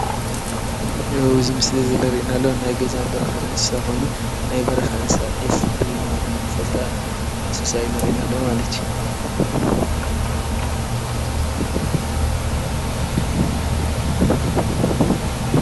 እዚ ምስሊ እዚ ዝረእየና ዘሎ ናይ ገዛን በረኻን እንስሳ ኾይኑ ናይ በረኻን እንስሳ ዒፍ ብምባል ንፈልጣ እንስሳ እዩ ዘርእየና ዘሎ ማለት እዩ።